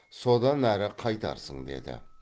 содан әрі қайтарсың деді